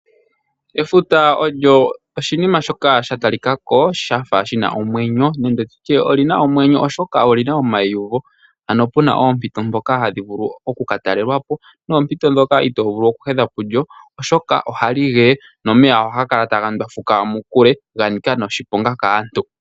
Efuta olyo oshinima shoka sha talikako shafa shina omwenyo nenge tutye olina omwenyo oshoka olina omaiyuvo, ano puna oompito dhoka hadhi vulu oku katalelapo noompito ndhoka itovulu oku hedha pulyo . Ohali geye nomeya ohaga kala taga ndwafuka mokule shanika noshiponga kaantu.